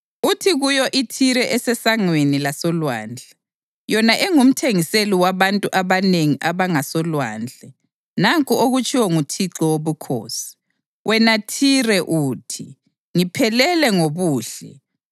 uthi kuyo iThire esesangweni lasolwandle, yona engumthengiseli wabantu abanengi abangasolwandle, ‘Nanku okutshiwo nguThixo Wobukhosi: Wena Thire uthi, “Ngiphelele ngobuhle.”